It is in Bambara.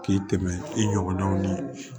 K'i tɛmɛ i ɲɔgɔnnaw ni